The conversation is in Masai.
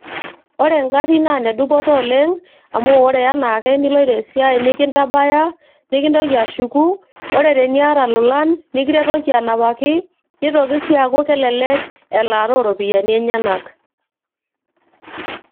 ore ingarrin naa inedupoto oleng amu ore enaake niloito esiai nikintabaya nikintoki ashuku ore teniata ilolan nikiretoki anapaki nitoki sii aaku kelelek elaata ooropiyiani enyenak.